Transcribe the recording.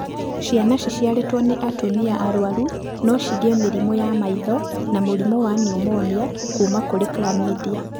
Ciana ciciarĩtwo nĩ atumia arwaru no cigĩe mĩrimũ ya maitho na mũrimũ wa niumonia kuma kũrĩ chlamydia.